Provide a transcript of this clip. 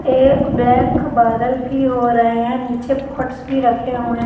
ये ब्लैक बादल भी हो रहे है नीचे पॉट्स भी रखे हुए --